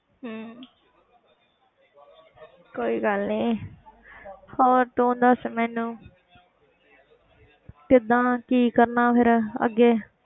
ਹਮ ਕੋਈ ਗੱਲ ਨੀ ਹੋਰ ਤੂੰ ਦੱਸ ਮੈਨੂੰ ਕਿੱਦਾਂ ਕੀ ਕਰਨਾ ਫਿਰ ਅੱਗੇ।